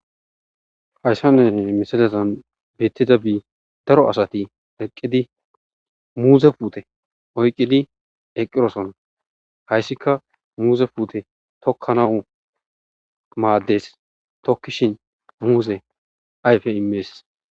Hayssan misizan beettidabi daro asati eqqidi muutha puute ekki oyqqidosona. Hayssikka muuze puute tokkanawus maaddees.tokkishin ayfe maaddees.